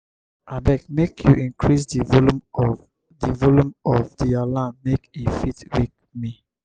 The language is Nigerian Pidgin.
abeg make you increase di volume of di volume of di alarm make e fit wake me.